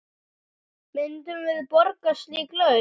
Myndum við borga slík laun?